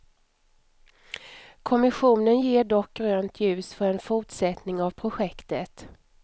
Kommissionen ger dock grönt ljus för en fortsättning av projektet.